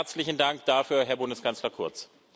Herzlichen Dank dafür, Herr Bundeskanzler Kurz!